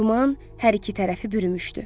Duman hər iki tərəfi bürümüşdü.